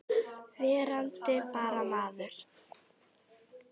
Verandi bara maður.